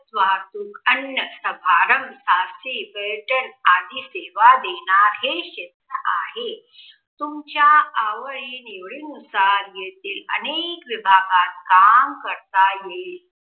वाहतूक अन्य, समारंभ, शासकी पर्यटन आदि सेवा आणि क्षेत्र आहे. तुमच्या आवडी निवडी नुसार येथे अनेक विभागात काम करता येईल.